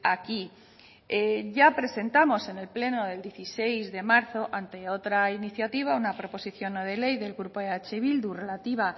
aquí ya presentamos en el pleno del dieciséis de marzo ante otra iniciativa una proposición no de ley del grupo eh bildu relativa